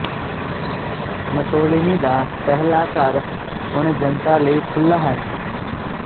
Mussolini ਦਾ ਪਹਿਲਾ ਘਰ ਹੁਣ ਜਨਤਾ ਲਈ ਖੁੱਲ੍ਹਾ ਹੈ